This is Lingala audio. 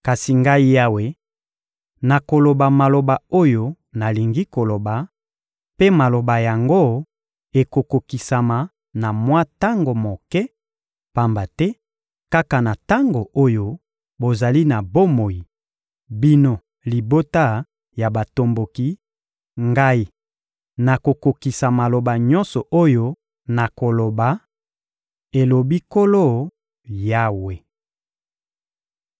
Kasi Ngai Yawe, nakoloba maloba oyo nalingi koloba, mpe maloba yango ekokokisama na mwa tango moke; pamba te kaka na tango oyo bozali na bomoi, bino libota ya batomboki, Ngai nakokokisa maloba nyonso oyo nakoloba, elobi Nkolo Yawe.›»